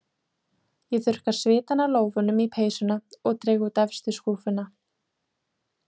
Ég þurrka svitann af lófunum í peysuna og dreg út efstu skúffuna.